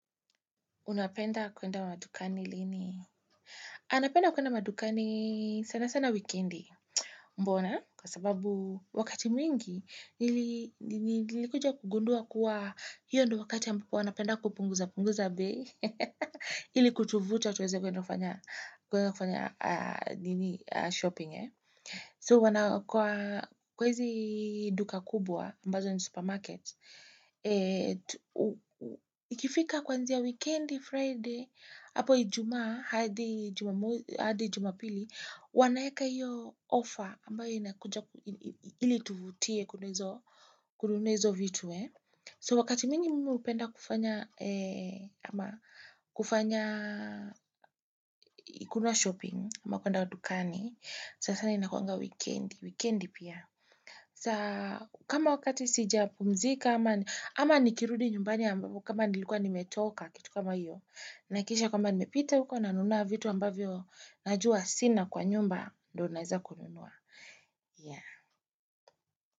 Unapenda kwenda madukani lini? Napenda kwenda madukani sana sana wikendi. Mbona? Kwa sababu wakati mwingi, nilikuja kugundua kuwa hio ndio wakati ambao wana penda kupunguza-punguza bei. Ili kutuvtua tuweze kwenda kufanya shopping. So, kwa hizi duka kubwa, ambazo ni supermarket, ikifika kwanzia wikendi, Friday, hapo ijumaa, hadi jumapili, wanaeka iyo offer ambayo inakuja ili ituvutie kununua izo vitu So wakati miwingi mimi hupenda kufanya, kufanya kununua shopping, ama kwenda dukani, sasa ni inakuanga wikendi, wikendi pia. Sasa kama wakati sija pumzika, ama nikirudi nyumbani ambapo kama nilikuwa nimetoka kitu kama hiyo. Nahakikisha kwamba nimepita uko nanunua vitu ambavyo najua sina kwa nyumba ndio naeza kununua.